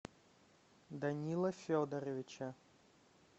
данила федоровича